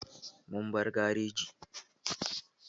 Mun bar garejin.